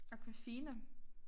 Aquafina